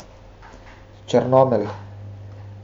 Črnomelj.